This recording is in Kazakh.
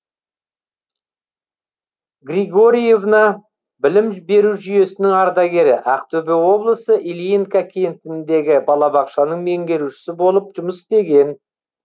григорьевна білім беру жүйесінің ардагері ақтөбе облысы ильинка кентіндегі балабақшаның меңгерушісі болып жұмыс істеген